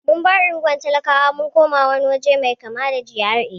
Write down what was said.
Mun bar unguwar talakawa mun koma wani waje mai kama da GRA.